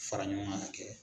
Fara ɲɔgɔn kan ka kɛ.